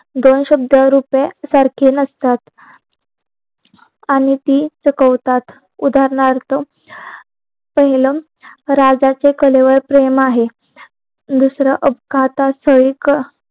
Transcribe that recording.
दोन शब्द रुपया सारखे नसतात आणि ती चुकवतात उदारणार्थ पहिलं राजाचे कलेवर प्रेम आहे दुसरा अपघातात शुल्क